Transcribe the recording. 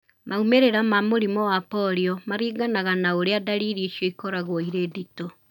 Maũmirĩra ma mũrimũ wa polio maringanaga na ũrĩa ndariri icio ĩkoragwo ĩrĩ ndĩtũ